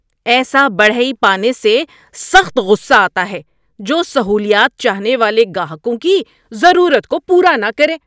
ایسا بڑھئی پانے سے سخت غصہ آتا ہے جو سہولیات چاہنے والے گاہکوں کی ضرورت کو پورا نہ کرے۔